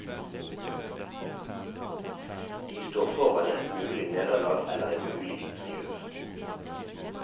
De står foran et mulig nederlag eller en mulig triumf.